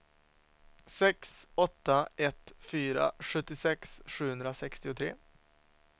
sex åtta ett fyra sjuttiosex sjuhundrasextiotre